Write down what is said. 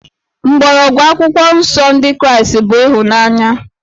Mgbọrọgwụ Akwụkwọ Nsọ Ndị Kraịst bụ ịhụnanya